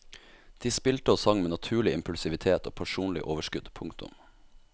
De spilte og sang med naturlig impulsivitet og personlig overskudd. punktum